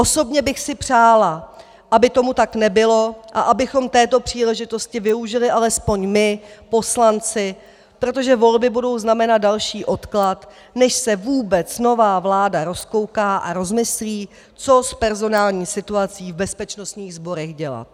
Osobně bych si přála, aby tomu tak nebylo a abychom této příležitosti využili alespoň my poslanci, protože volby budou znamenat další odklad, než se vůbec nová vláda rozkouká a rozmyslí, co s personální situací v bezpečnostních sborech dělat.